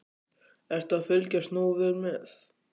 Ertu að fylgjast nógu vel með?